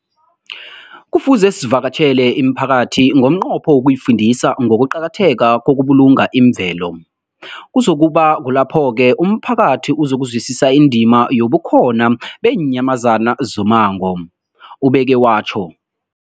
Kufuze sivakatjhele imiphakathi ngomnqopho wokuyifundisa ngokuqakatheka kokubulunga imvelo. Kuzoku ba kulapho-ke umphakathi uzokuzwisisa indima yobukhona beenyamazana zommango, ubeke watjho.